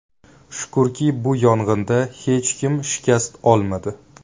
Shukurki, bu yong‘inda hech kim shikast olmadi.